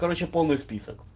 короче полный список